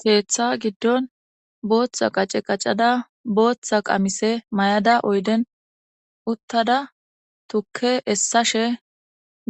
Keeththa giddon bootha qace qacada bootha qamise mayada oyden uttada tukke essashe